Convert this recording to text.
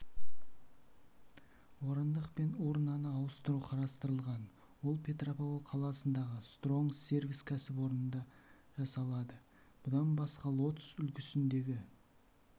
орындық пен урнаны ауыстыру қарастырылған ол петропавл қаласындағы стронг сервис кәсіпорнында жасалады бұдан басқа лотос үлгісіндегі